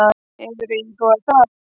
Hefurðu íhugað það?